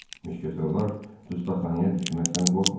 Müşketyorlar dustaqxanaya düşməkdən qorxmurdular.